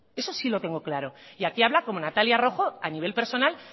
eso sí lo tengo claro y aquí hablo como natalia rojo a nivel personal